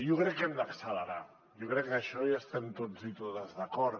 jo crec que hem d’accelerar jo crec que amb això hi estem tots i totes d’acord